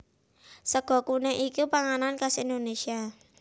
Sega kuning iku panganan khas Indonésia